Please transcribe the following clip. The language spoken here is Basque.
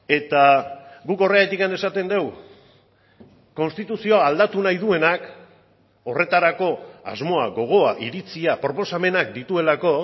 eta guk horregatik esaten dugu konstituzioa aldatu nahi duenak horretarako asmoa gogoa iritzia proposamenak dituelako